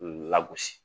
Lagosi